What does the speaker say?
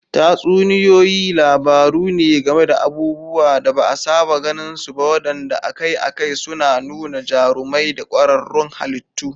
Tatsuniyoyi labaru ne game da abubuwan da ba a saba gani ba waɗanda akai-akai suna nuna jarumai da ƙwararrun halittu.